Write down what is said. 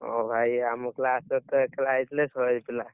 ଓ ଭାଇ ଆମ class ରେ ତ ଏକେଲା ହେଇଥିଲେ ଶହେ ପିଲା।